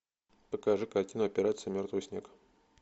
покажи картину операция мертвый снег